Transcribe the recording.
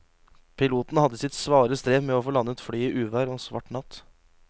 Piloten hadde sitt svare strev med å få landet flyet i uvær og svart natt.